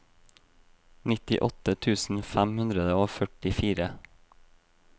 nittiåtte tusen fem hundre og førtifire